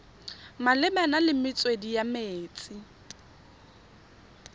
malebana le metswedi ya metsi